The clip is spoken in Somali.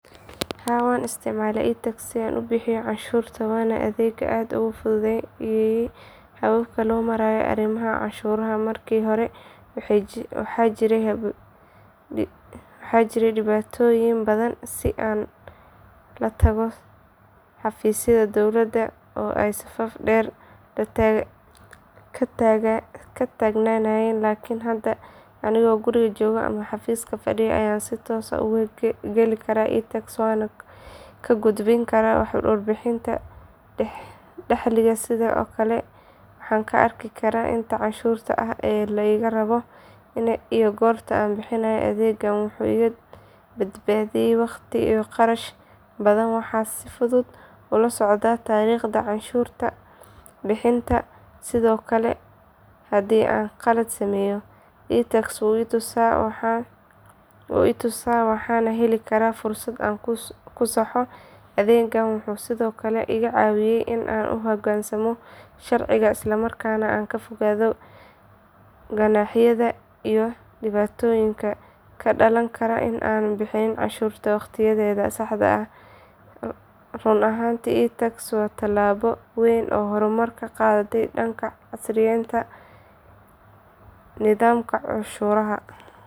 Haa waan isticmaalaa iTax si aan u bixiyo canshuurta waana adeeg aad u fududeeyay habka loo maareeyo arrimaha canshuuraha markii hore waxaa jiray dhibaatooyin badan sida in la tago xafiisyada dowladda oo ay safaf dheeri ka taagnaayeen laakin hadda anigoo guriga jooga ama xafiiska fadhiya ayaan si toos ah ugu geli karaa iTax waxaana ka gudbin karaa warbixinta dakhliga sidoo kale waxaan ka arki karaa inta canshuur ah ee layga rabo iyo goorta la bixinayo adeeggan wuxuu iga badbaadiyay waqti iyo qarash badan waxaana si fudud ula socdaa taariikhda canshuur bixintayda sidoo kale haddii aan khalad sameeyo iTax wuu i tusaa waxaana heli karaa fursad aan ku saxo adeeggan wuxuu sidoo kale iga caawiyay in aan u hoggaansamo sharciga isla markaana aan ka fogaado ganaaxyada iyo dhibaatada ka dhalan karta in aanan bixin canshuurta waqtiyadeedii saxda ahayd runtii iTax waa tallaabo weyn oo horumar ah oo loo qaaday dhanka casriyeynta nidaamka canshuuraha.